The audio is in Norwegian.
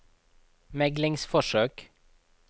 meglingsforsøk